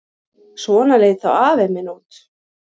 Svona leit þá afi minn út.